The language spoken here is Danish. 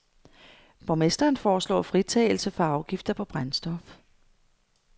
Borgmester foreslår fritagelse for afgifter på brændstof.